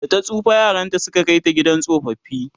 data tsufa yaranta Suka Kai ta gidan tsofaffi